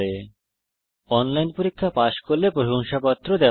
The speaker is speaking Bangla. যারা অনলাইন পরীক্ষা পাস করে তাদের প্রশংসাপত্র সার্টিফিকেট ও দেওয়া হয়